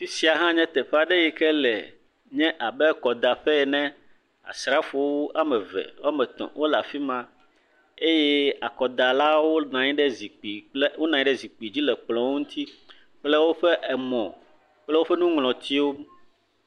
Afi sia hã nye teƒe aɖe yi ke le nye abe akɔdaƒe ene, asrafowo woame eve woame etɔ̃ wole afi ma, eye akɔdalawo nɔ anyi ɖe zikpui dzi le kplɔ ŋuti kple woƒe emɔ kple woƒe nuŋlɔtiwo.